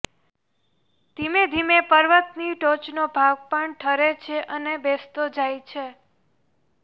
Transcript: ધીમે ધીમે પર્વતની ટોચનો ભાગ પણ ઠરે છે અને બેસતો જાય છે